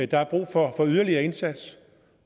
der er brug for yderligere indsats